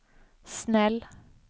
snäll